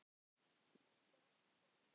Og þetta er allt komið.